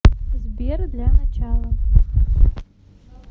сбер для начала